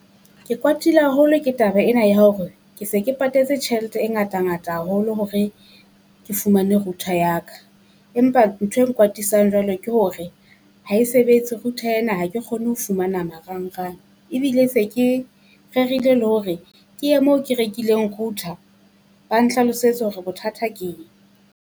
Ke kwatile haholo ke taba ena ya hore ke se ke patetse tjhelete e ngata-ngata haholo hore ke fumane router ya ka, empa ntho e nkwatisang jwalo ke hore ha e sebetse router ena ha ke kgone ho fumana marangrang. Ebile se ke rerile le hore ke ye moo ke rekileng router ba nhlalosetsa hore bothata ke eng.